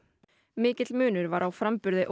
mikill munur var á framburði